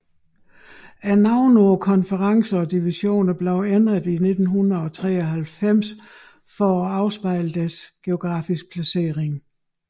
Navnene på konferencerne og divisionerne blev ændret i 1993 for at afspejle deres geografiske placeringer